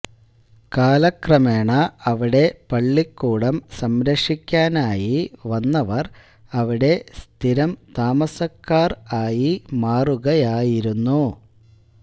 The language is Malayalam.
കാലക്രമേണ അവിടെ പള്ളിക്കൂടം സംരക്ഷിക്കാനായി വന്നവർ അവിടെ സ്ഥിരം താമസക്കാർ ആയി മാറുകയായിരുന്നു